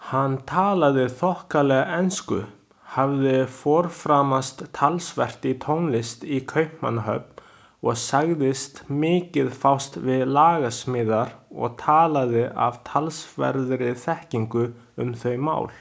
Hann talaði þokkalega ensku, hafði forframast talsvert í tónlist í Kaupmannahöfn og sagðist mikið fást við lagasmíðar og talaði af talsverðri þekkingu um þau mál.